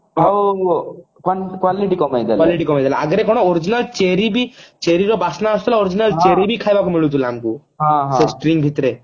ଆଉ quality କମେଇଦେଲା ଆଗରୁ କଣ original ଚେରୀ ବି ଚେରୀ ର ବାସନା ଆସୁଥିଲା original ଚେରୀ ବି ଖାଇବାକୁ ମିଳୁଥିଲା ଆମକୁ ସେ string ଭିତରେ